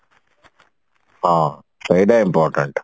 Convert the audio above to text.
ହଁ ସେଇଟା important